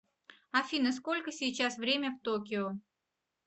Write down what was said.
афина сколько сейчас время в токио